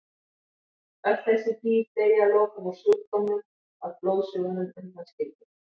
Öll þessi dýr deyja að lokum úr sjúkdómnum að blóðsugunum undanskildum.